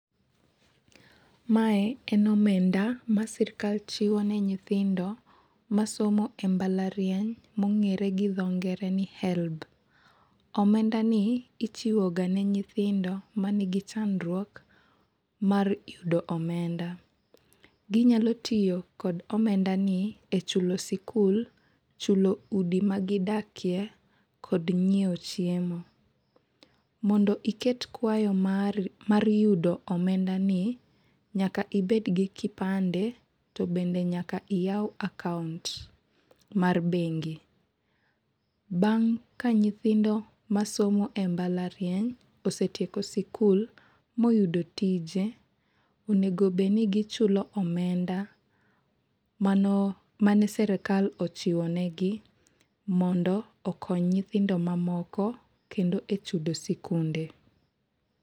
Mae en omenda ma sirkal chiwo ne nyithindo masomo e mbalariany mong'ere gi dho ngere ni HELB. Omendani ichiwo ga ne nyithindo ma nigi chandruok mar yudo omenda. Ginyalo tiyo kod omendani e chulo sikul, chulo udi ma gidakie kod ng'iewo chiemo. Mondo iket kwayo mari mar yudo omendani, nyaka ibed gi kipande to bende nyaka iyau akaunt mar bengi. Bang' ka nyithindo ma somo e mbalariany osetieko sikul, moyudo tije, onego obed ni gichulo omenda mano mane sirkal ochiwo negi, mondo okony nyithindo mamoko kendo e chudo sikunde.